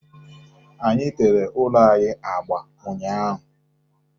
Anyị tere ụlọ anyị agba ụnyaahụ.